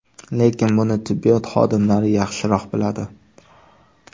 Lekin buni tibbiyot xodimlari yaxshiroq biladi.